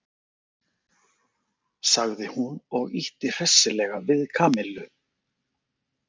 sagði hún og ýtti hressilega við Kamillu.